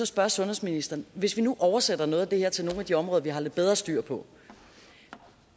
spørge sundhedsministeren hvis vi nu oversætter noget af det her til nogle af de områder vi har lidt bedre styr på